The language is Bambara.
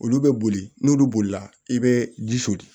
Olu bɛ boli n'olu bolila i bɛ ji soli